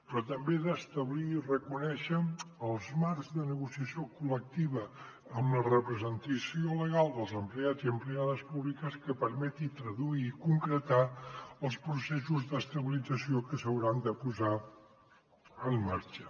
però també ha d’establir i reconèixer els marcs de negociació col·lectiva amb la representació legal dels empleats i empleades públics que permeti traduir i concretar els processos d’estabilització que s’hauran de posar en marxa